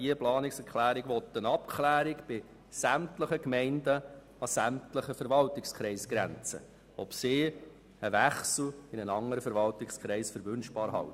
Mit dieser Planungserklärung soll bei sämtlichen Gemeinden an sämtlichen Verwaltungskreisgrenzen abgeklärt werden, ob ein Wechsel zu einem anderen Verwaltungskreis erwünscht ist.